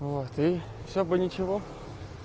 вот и всё бы ничего